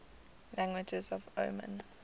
languages of oman